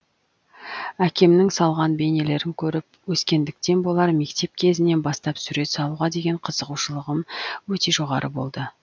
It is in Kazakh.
әкемнің салған бейнелерін көріп өскендіктен болар мектеп кезінен бастап сурет салуға деген қызығушылығым өте жоғары болды